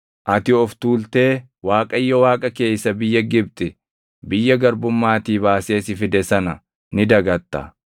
ati of tuultee Waaqayyo Waaqa kee isa biyya Gibxi, biyya garbummaatii baasee si fide sana ni dagatta.